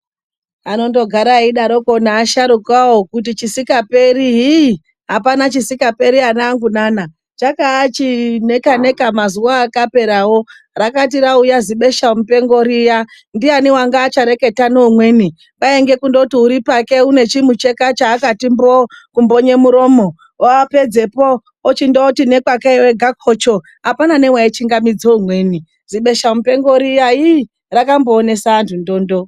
Anondogara eidaro asharukawo kuti chisingaperi apana chisingaperi anangu nana. Chaaka chineka neka mazuwa akaperawo. Rakati rauya zibhesha mupengo riya. Ndiyani wanga achareketa neumweni. Kwainge kundoti ari pake ane chimucheka chaakati mboo kumbonye muromo. Wapedzeko, wochindoti pake ega kocho. Hapana nowaichingamidzo umweni. Zibesha mupengo riya rakamboonesa vanhu ndondo.